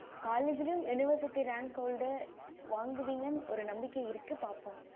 college ளையும் university rank hold வாங்குவிங்கன்னு ஒரு நம்பிக்கை இருக்கு பாப்போம்